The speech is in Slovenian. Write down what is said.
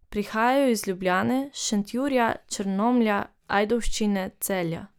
Prihajajo iz Ljubljane, Šentjurja, Črnomlja, Ajdovščine, Celja.